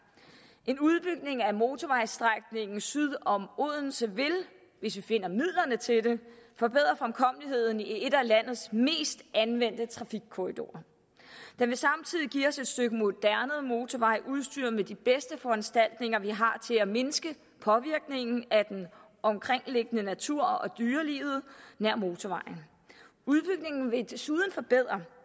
en udbygning af motorvejsstrækningen syd om odense vil hvis vi finder midlerne til det forbedre fremkommeligheden i en af landets mest anvendte trafikkorridorer den vil samtidig give os et stykke moderne motorvej udstyret med de bedste foranstaltninger vi har til at mindske påvirkningen af den omkringliggende natur og dyrelivet nær motorvejen udbygningen vil desuden forbedre